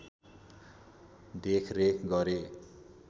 देखरेख गरे